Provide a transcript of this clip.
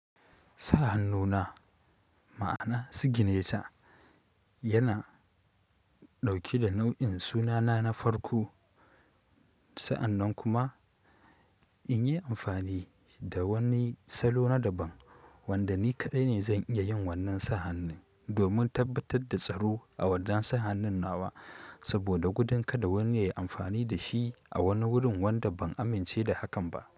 Sa han nuna, ma'ana sigine ta, yana ɗauke da nau'in sunana na farko. Sa'annan kuma in yi amfani da wani salo na daban wanda ni kaɗai ne zan iya yin wannan sahanin domin tabbatar da tsaro a wannan sahanin nawa. Saboda gudun kada wani yayi amfani da shi a wani wurin wanda ban amince da hakan ba.